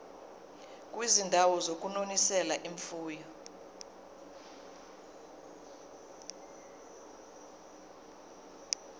kwizindawo zokunonisela imfuyo